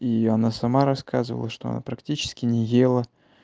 и она сама рассказывала что она практически не ела